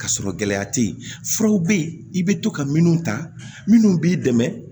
Ka sɔrɔ gɛlɛya te yen furaw be yen i be to ka minnu ta minnu b'i dɛmɛ